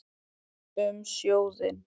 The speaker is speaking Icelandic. Um sjóðinn